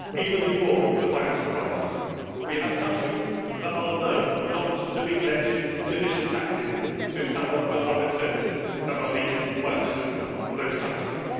Even before the financial crisis, we had countries that are known not to be collecting sufficient taxes to cover the public services that are needed by the citizens of those countries.